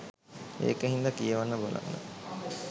ඒක හින්දා කියවන බලන